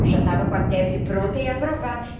Eu já estava com a tese pronta e aprovada.